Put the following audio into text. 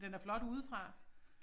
Den er flot udefra